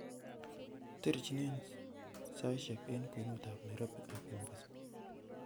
terjin ne saisiek en kwenut ab nairobi ak mombasa